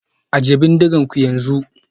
Ajiye bindigoginku yanzu